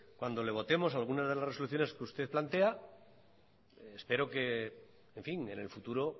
cuando le votemos alguna de las resoluciones que usted plantea espero que en fin en el futuro